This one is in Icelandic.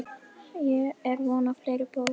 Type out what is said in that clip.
Er von á fleiri bókum?